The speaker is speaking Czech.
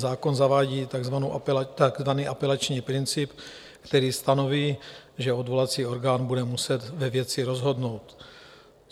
Zákon zavádí takzvaný apelační princip, který stanoví, že odvolací orgán bude muset ve věci rozhodnout.